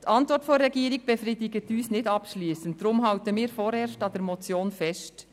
Die Antwort der Regierung befriedigt uns nicht abschliessend, darum halten wir vorerst an der Motion fest.